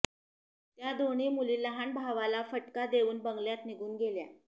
त्या दोन्ही मुली लहान भावाला फटका देऊन बंगल्यात निघून गेल्या